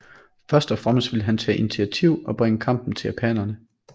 Først og fremmest ville han tage initiativet og bringe kampen til japanerne